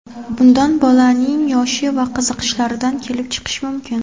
Bunda bolaning yoshi va qiziqishlaridan kelib chiqish mumkin.